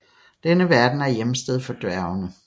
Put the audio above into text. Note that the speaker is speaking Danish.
Denne verden er hjemsted for dværgene